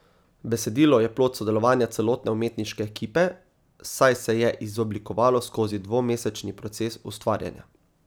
Besedilo je plod sodelovanja celotne umetniške ekipe, saj se je izoblikovalo skozi dvomesečni proces ustvarjanja.